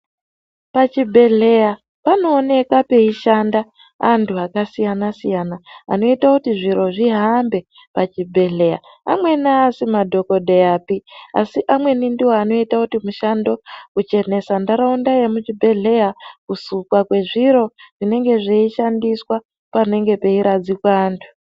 Pachibhedhleya panoonekwa peishanda antu akasiyana-siyana anoito kuti zviro zvihambe pachibhedhleya. Amweni haasi madhogodheyapi asi amweni ndiwo anoita kuti mushando, kuchenesa ntaraunda yemuchibhedhleya, kusukwa kwezviro zvinenge zveishandiswa panenge peiradzikwa antu.